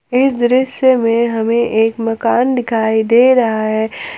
इस दृश्य में हमें एक मकान दिखाई दे रहा है।